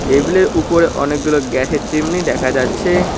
টেবিলের উপরে অনেকগুলি গ্যাসের চিমনি দেখা যাচ্ছে।